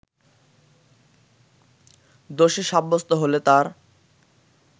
দোষী সাব্যস্ত হলে তার